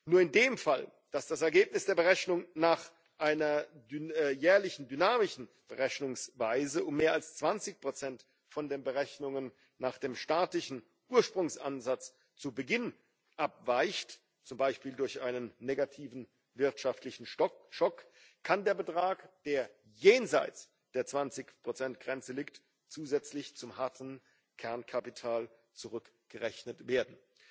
Nur in dem Fall, dass das Ergebnis der Berechnung nach einer jährlichen dynamischen Berechnungsweise um mehr als 20 von den Berechnungen nach dem statistischen Ursprungsansatz zu Beginn abweicht, zum Beispiel durch einen negativen wirtschaftlichen Schock, kann der Betrag, der jenseits der 20 Grenze liegt, zusätzlich zum harten Kernkapital zurückgerechnet werden.